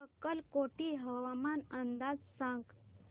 अक्कलकोट हवामान अंदाज सांग